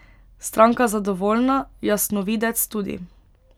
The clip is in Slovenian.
Stranka zadovoljna, jasnovidec tudi.